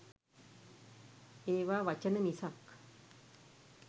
ඒවා වචන මිසක්